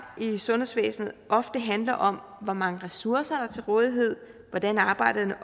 i sundhedsvæsenet ofte handler om hvor mange ressourcer der er til rådighed hvordan arbejdet er